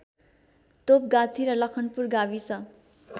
तोपगाछी र लखनपुर गाविस